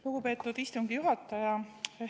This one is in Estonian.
Lugupeetud istungi juhataja!